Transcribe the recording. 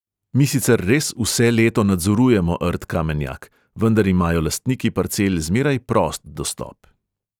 Mi sicer res vse leto nadzorujemo rt kamenjak, vendar imajo lastniki parcel zmeraj prost dostop.